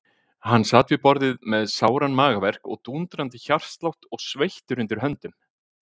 Hann sat við borðið með sáran magaverk og dúndrandi hjartslátt og sveittur undir höndum.